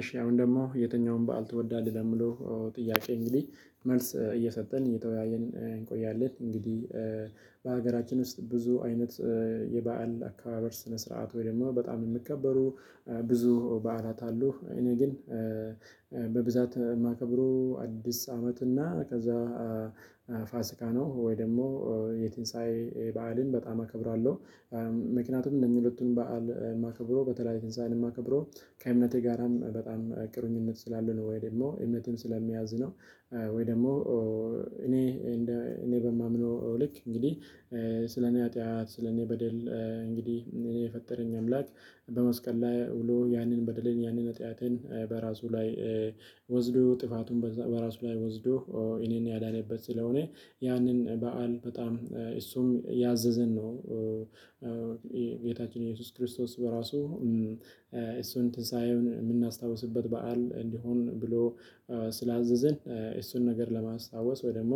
እሺ አሁን ደግሞ የትኛውም በዓል ትወዳለህ ለሚለው? ጥያቄ እንግዲህ መልስ እየሰጠን እየተወያየን እንቆያለን እንግዲህ በሀገራችን ውስጥ ብዙ አይነት የበአል አካባቢ ስነ ስርዓት ወይም በጣም የምከበሩ ብዙ በዓላት አሉ። እኔ ግን በብዛት የማከብረው አዲስ አመት እና ከዛ ፋሲካ ነው ወይ ደግሞ የትንሳኤ በዓልን በጣም አከብራለሁ። ምክንያቱም እነኚህ ሁለቱን በዓል የማከብረው በተለይ ትንሳኤን የማከብረው ከእምነቴ ጋራም በጣም ቅርኝነት ስላለ ነው። ወይ ደግሞ እምነትም ስለሚያዝነው። ወይ ደግሞ እኔ እንደ እኔ በማምነው ልክ እንግዲህ ስለኔ ኃጢአት ስለኔ በደል እንግዲህ እኔ የፈጠረኝ አምላክ። በመስቀል ላይ ውሎ ያንን በድሌን ያንን ነጥያቴን በራሱ ላይ ወስዶ ጥፋቱን በራሱ ላይ ወስዶ እኔን ያዳነበት ስለሆነ ያንን በዓል በጣም እሱም ያዘዘን ነው። ጌታችን ኢየሱስ ክርስቶስ በራሱ እሱን እንትን ሳይሆን የምናስታውስበት በዓል እንዲሆን ብሎ ስላዘዘን። እሱን ነገር ለማስታወስ ወይ ደግሞ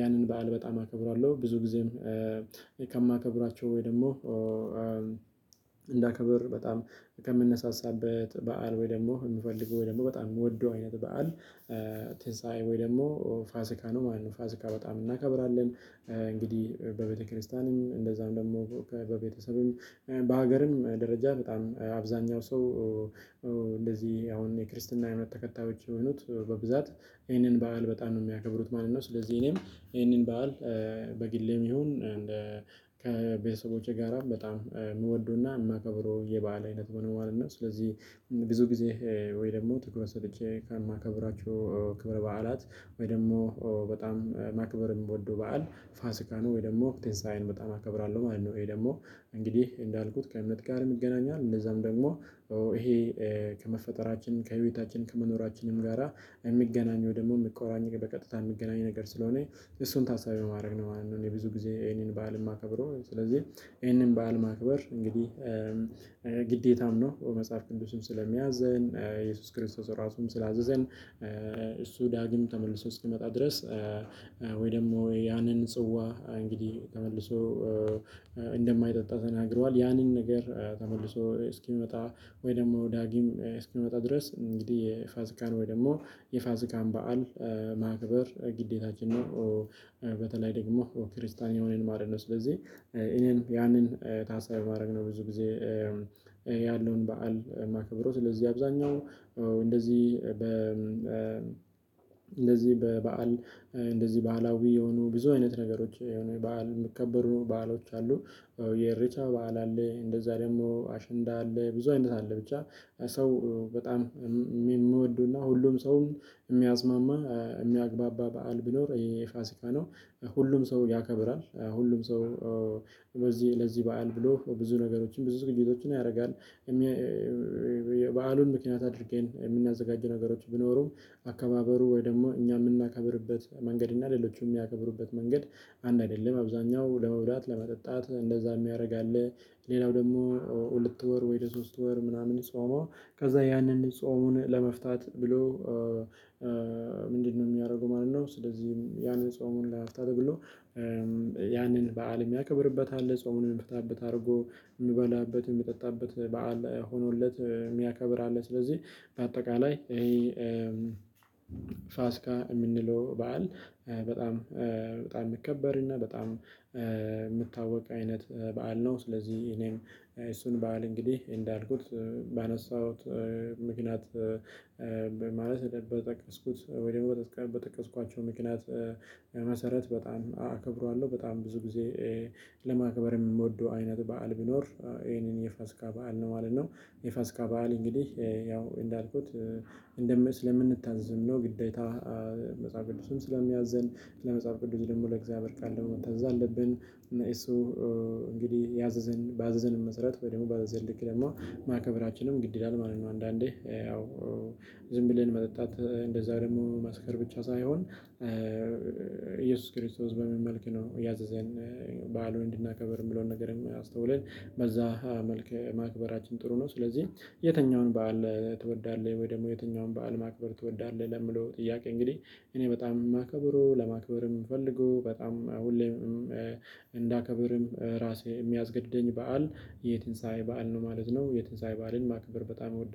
ያንን በዓል በጣም አከብራለሁ። ብዙ ጊዜም ከማከብራቸው ወይ ደግሞ እንዳከብር በጣም ከምንነሳሳበት በዓል ወይ ደግሞ የምፈልገው ወይ ደግሞ በጣም የምወደው አይነት በዓል ትንሳኤ ወይ ደግሞ ፋሲካ ነው ማለት ነው። ፋሲካ በጣም እናከብራለን እንግዲህ በቤተክርስቲያንም እንደዛም ደግሞ ከበቤተሰብም በሀገርም ደረጃ በጣም አብዛኛው ሰው እንደዚህ አሁን የክርስትና የእምነት ተከታዮች የሆኑት በብዛት ይህንን በዓል በጣም ነው የሚያከብሩት ማለት ነው። ስለዚህ እኔም ይህንን በዓል። በግሌም ይሁን ከቤተሰቦቼ ጋራ በጣም እምንወደውና የማከብረው የበአል አይነት መኖር እና ስለዚህ ብዙ። ጊዜ ወይ ደግሞ ትኩረት ሰጥቼ ካልማከብራቸው ክብር በዓላት ወይ ደግሞ በጣም ማክበርም የምወደው በዓል ፋሲካኖ ወይ ደግሞ ትንሳኤን በጣም አከብራለሁ ማለት ነው። ወይ ደግሞ እንግዲህ እንዳልኩት ከእምነት ጋር ይገናኛል። እነዛም ደግሞ ይሄ ከመፈጠራችን ከህይወታችን ከመኖራችንም ጋራ የሚገናኘው ደግሞ የሚቆራኝ በቀጥታ የምትገናኝ ነገር ስለሆነ እሱን ታሳቢ ማድረግ ነው ማለት ነው። እኔ ብዙ ጊዜ ይሄንን በዓል የማከብረው ስለዚህ። ይሄንን በዓል ማክበር እንግዲህ ግዴታም ነው። በመጽሐፍ ቅዱስም ስለሚያዘን ኢየሱስ ክርስቶስ ራሱም ስላዘዘን እሱ ዳግም ተመልሶ እስኪመጣ ድረስ ወይ ደግሞ ያንን ጽዋ እንግዲህ ተመልሶ እንደማይጠጣ ተናግሯል። ያንን ነገር ተመልሶ እስኪመጣ ወይ ደግሞ ዳጊም እስኪመጣ ድረስ እንግዲህ የፋሲካን ወይ ደግሞ የፋሲካን በዓል ማክበር ግዴታችን ነው። በተለይ ደግሞ ክርስቲያን የሆነን ማለት ነው። ስለዚህ እኔም ያንን ታሳቢ በማድረግ ነው ብዙ ጊዜ ያለውን በዓል ማከብረው። ስለዚህ አብዛኛው እንደዚህ በ እንደዚህ በበዓል እንደዚህ በአላዊ የሆኑ ብዙ አይነት ነገሮች የሆኑ በዓል የሚከበሩ በዓሎች አሉ። የሪቻ በዓል አለ እንደዛ ደግሞ አሸንዳ አለ ብዙ አይነት አለ ብቻ። ሰው በጣም የምወደውና ሁሉም ሰውም የሚያሲማማ የሚያግባባ በዓል ቢኖር የፋሲካ ነው። ሁሉም ሰው ያከብራል ሁሉም ሰው ለዚህ ለዚህ በዓል ብሎ ብዙ ነገሮችን ብዙ ነገሮችን ያደርጋል። በዓሉን ምክንያት አድርገን የምናዘጋጀው ነገሮች ቢኖሩም አከባበሩ ወይም ደግሞ እኛ የምናከብርበት መንገድ እና ሌሎቹም የሚያከብሩበት መንገድ አንድ አይደለም። አብዛኛው ለመውራት ለመጠጣት እንደዛ የሚያደርግ አለ። ሌላው ደግሞ ሁለት ወር ወይም ለሶስት ወር ምናምን ጾመው ከዛ ያንን ጾሙን ለመፍታት ብሎ ምንድነው የሚያደርገው ማለት ነው? ስለዚህም ያንን ጾሙን ለመፍታት ብሎ ያንን በዓል የሚያከብርበት አለ። ጾሙን ሚፈታበት አድርጎ የሚበላበት የሚጠጣበት በዓል ሆኖለት የሚያከብር ስለዚህ። በአጠቃላይ ፋሲካ የምንለው በዓል በጣም በጣም የሚከበርና በጣም የሚታወቅ አይነት በዓል ነው። ስለዚህ እኔም እሱን በዓል እንግዲህ እንዳልኩት ባነሳሁት ምክንያት ማለት እንደጠቀስኩት ወይም በጠቀስኳቸው ምክንያት መሰረት በጣም አከብረዋለሁ በጣም ብዙ ጊዜ ለማክበር የምንወደው አይነት በዓል ቢኖር ይሄንን የፋሲካ በዓል ነው ማለት ነው። የፋሲካ በዓል እንግዲህ ያው እንዳልኩት እንደምን ስለምንታዘዝም ነው። ግዴታ መጽሐፍ ቅዱስም ስለሚያዘን ለመጽሐፍ ቅዱስ ደግሞ ለእግዚአብሔር ቃል ደግሞ መታዘዝ አለብን እና እሱ እንግዲህ ያዘዘን ባዘዘን መሰረት ወይ ደግሞ ባዘዘን ልክ ደግሞ ማክበራችንም ግድ ይላል ማለት ነው። አንዳንዴ ያው ዝም ብለን መጠጣት እንደዛ ደግሞ መስከር ብቻ ሳይሆን ኢየሱስ ክርስቶስ በምን መልክ ነው ያዘዘን? በዓሉን እንድናከብር የምለውን ነገር የሚያስተውለን በዛ መልክ ማክበራችን ጥሩ ነው። ስለዚህ የትኛውን በዓል ትወዳለህ? ወይ ደግሞ የትኛውን በዓል ማክበር ትወዳለህ? ለሚለው ጥያቄ እንግዲህ እኔ በጣም የማከብረው ለማክበርም ምፈልገው በጣም ሁሌም እንዳከብርም ራሴ የሚያስገድደኝ በዓል የትንሳኤ በዓል ነው ማለት ነው። የትንሳኤ በዓልን ማክበር በጣም እወዳለሁ